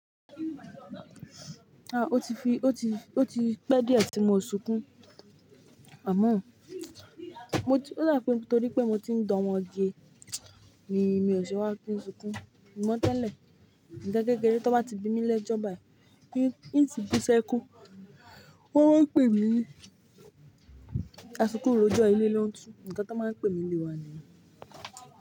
Ah! O ti fi, o ti, o ti pẹ́ díẹ̀ tí mo sunkún, àmọ́ mo ti-- ó dà pé nítorí pé mo ti ń dá ọmọgé ni mi ò sè wá kín sunkún. Ìmọ̀ tẹ́lẹ̀, nkan kékeré tó bá ti bimi lẹ́jọ́ bàì, í, í ti bú sẹ́kún, wọ́n máa ń pè mí ní, "asukún rojọ́ ilé ló ń tu." Ǹkan tí wọ́n máa ń pè mí nílé wa nìyẹn.